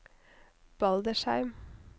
Baldersheim